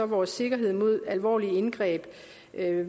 vores sikkerhed mod alvorlige indgreb